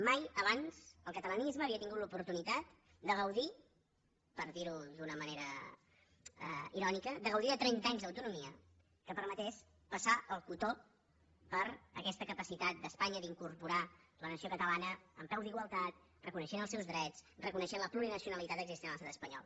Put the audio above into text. mai abans el catalanisme havia tingut l’oportunitat de gaudir per dir ho d’una manera irònica de gaudir de trenta anys d’autonomia que permetés passar el cotó per aquesta capacitat d’espanya d’incorporar la nació catalana en peu d’igualtat reconeixent els seus drets reconeixent la plurinacionalitat existent en l’estat espanyol